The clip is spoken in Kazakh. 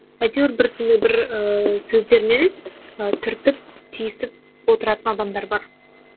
әйтеуір бір сондай бір ііі сөздермен і түртіп тиісіп отыратын адамдар бар